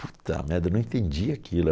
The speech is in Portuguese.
Puta merda, eu não entendi aquilo.